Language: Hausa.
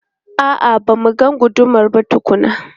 A'a, ba mu ga gudumar ba tukuna.